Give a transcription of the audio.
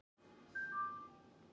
Íslensk þýðing eftir Þorberg Þórsson.